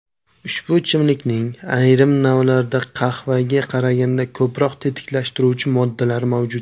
Ushbu ichimlikning ayrim navlarida qahvaga qaraganda ko‘proq tetiklashtiruvchi moddalar mavjud.